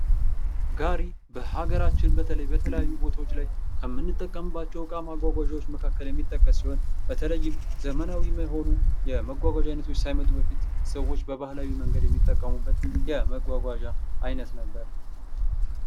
ጋሪ በሀገራችን በተለይ በተለያዩ ቦታዎች ላይ ከምንጠቀምባቸው እቃ ማጓጓዣዎች መካከል የሚጠቀ ሲሆን በተለይም ዘመናዊ የሆኑ የመጓጓዣ አይነቶች ሳይመጡ በፊት ሰዎች በባህላዊ መንገድ የሚጠቀመበት የመጓጓዣ አይነት ነበር ::